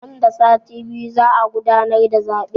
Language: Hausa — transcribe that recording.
Nan da sati biyu za a gudanar da zaɓe